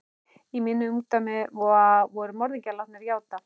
Í mínu ungdæmi voru morðingjar látnir játa.